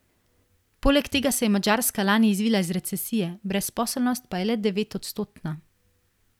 Poleg tega se je Madžarska lani izvila iz recesije, brezposelnost pa je le devetodstotna.